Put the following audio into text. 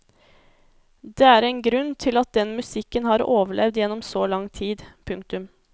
Det er en grunn til at den musikken har overlevd gjennom så lang tid. punktum